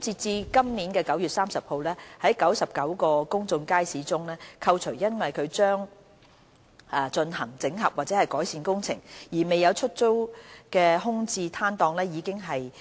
截至今年9月30日，在99個公眾街市中，扣除因將進行整合或改善工程而未有出租的空置攤檔，已經和